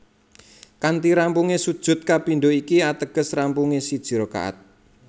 Kanthi rampungé sujud kapindho iki ateges rampungé siji rakaat